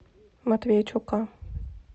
матвейчука